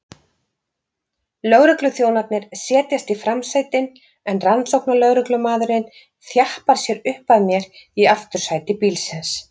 Lögregluþjónarnir setjast í framsætin en rannsóknarlögreglumaðurinn þjappar sér upp að mér í aftursæti bílsins.